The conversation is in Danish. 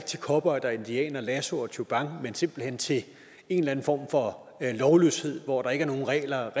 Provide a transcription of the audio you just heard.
til cowboyer og indianere lasso og tjubang men simpelt hen til en eller anden form for lovløshed hvor der ikke er nogen regler